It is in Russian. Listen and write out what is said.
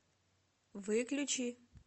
выключи